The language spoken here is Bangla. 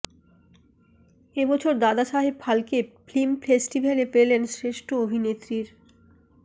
এবছর দাদা সাহেব ফালকে ফিল্ম ফেস্টিভ্যালে পেলেন শ্রেষ্ঠ অভিনেত্রীর